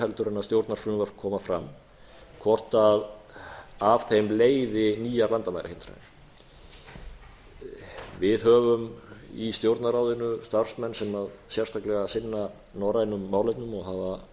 heldur en stjórnarfrumvörp koma fram hvort af þeim leiði nýjar landamærahindranir við höfum í stjórnarráðinu starfsmenn sem sérstaklega sinna norrænum málefnum og